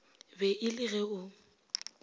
be e le ge o